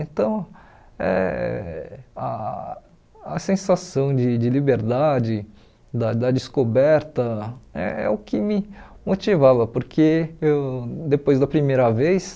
Então, eh ah a sensação de de liberdade, da da descoberta, é é o que me motivava, porque eu depois da primeira vez,